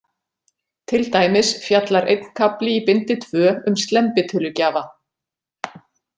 Til dæmis fjallar einn kafli í bindi tvö um slembitölugjafa.